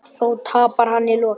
Þó tapar hann í lokin.